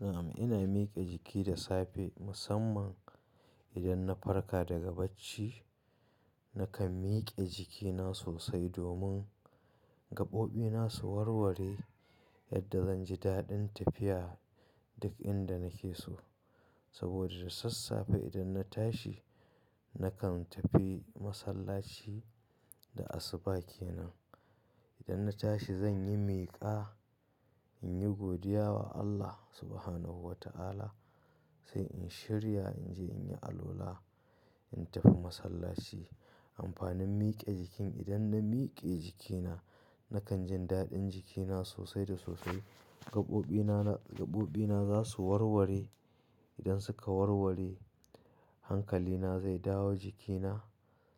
Na'am ina mike jiki da safe musamman idan na farka daga bacci nakan mike jikina sosai domin gabobi na su warware yadda zan ji daɗin tafiya duk inda nake so. Saboda da sassafe idan na tashi nakan tafi masallaci da asuba kenan. Idan na tashi zan yi miƙa, in yi godiya wa Allah Subhanahu wa ta'ala sai in shirya in je in yi alwala, in tafi masallaci. Amfanin mike jiki idan na mike jikina nakan jin daɗin jikina sosai da sosai gabobina, gabobina za su warware. Idan suka warware hankalina zai dawo jikina